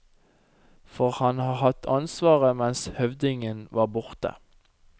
For han har hatt ansvaret mens høvdingen var borte.